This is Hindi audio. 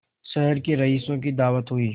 शहर के रईसों की दावत हुई